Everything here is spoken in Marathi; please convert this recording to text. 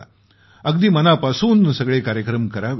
अगदी मनापासून सगळे कार्यक्रम करावेत